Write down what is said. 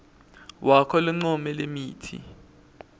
wakho loncome lemitsi